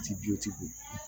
Ti